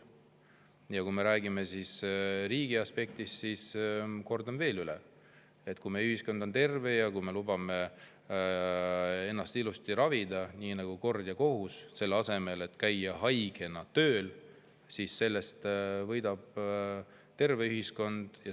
Ja kui me räägime riigi aspektist, siis kordan veel üle, et kui meie ühiskond on terve ja kui me lubame ennast ilusti ravida nii nagu kord ja kohus, selle asemel et käiakse haigena tööl, siis sellest võidab terve ühiskond.